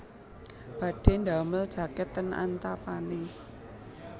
Badhe ndamel jaket ten Antapani